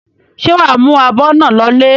Ṣé wà á mú abọ́ náà lọlé?